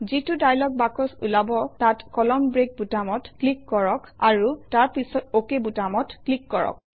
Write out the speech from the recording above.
যিটো dialog box ওলাব তাত কলামন ব্ৰেক বুটামত ক্লিক কৰক আৰু তাৰ পাছত অক বুটামত ক্লিক কৰক